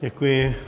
Děkuji.